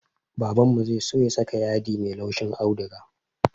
Babanmu zai so ya saka yadi mai laushin auduga